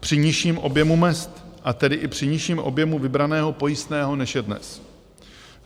Při nižším objemu mezd a tedy i při nižším objemu vybraného pojistného, než je dnes.